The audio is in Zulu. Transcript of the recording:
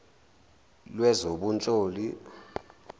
lwezobunhloli